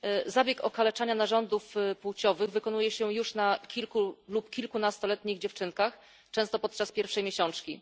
Zabieg okaleczania narządów płciowych wykonuje się już na kilku lub kilkunastoletnich dziewczynkach, często podczas pierwszej miesiączki.